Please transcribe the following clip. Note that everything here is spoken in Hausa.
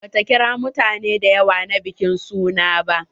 Ba ta kira mutane da yawa na bikin suna ba.